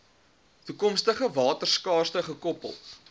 toekomstige waterskaarste gekoppel